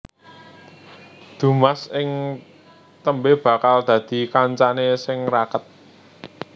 Dumas ing tembé bakal dadi kancané sing raket